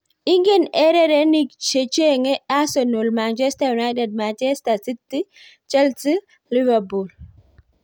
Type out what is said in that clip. Ingen ererenig chechenge Arsenal, Manchester United, Manchester City, Chelsea Liverpool